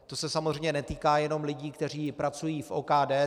To se samozřejmě netýká jenom lidí, kteří pracují v OKD.